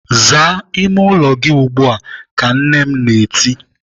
"Zaa ime ụlọ gị ugbu a!" Ka m nne m na-eti.